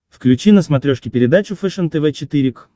включи на смотрешке передачу фэшен тв четыре к